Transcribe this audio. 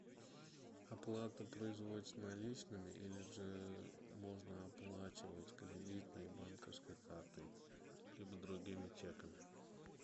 оплата производится наличными или же можно оплачивать кредитной банковской картой либо другими чеками